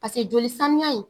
Pase joli samiya in